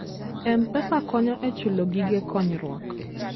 M-Pesa konyo e chulo gige konyruok.